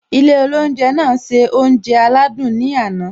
Ilé oúnjẹ náà se oúnjẹ aládùn ní àná